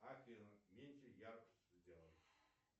афина меньше яркость сделай